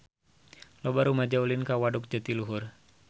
Loba rumaja ulin ka Waduk Jatiluhur